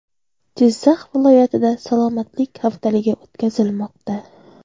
Jizzax viloyatida salomatlik haftaligi o‘tkazilmoqda.